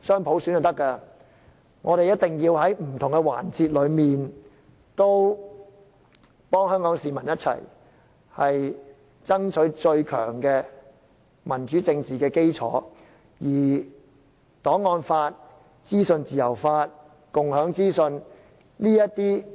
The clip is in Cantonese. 雙普選，我們更要在不同環節和香港市民一起爭取最強的民主政治基礎，包括我們不應忘記的檔案法、資訊自由法和共享資訊等。